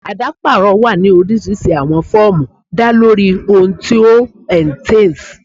Adaparọ wa ni orisirisi awọn fọọmu da lori ohun ti o entails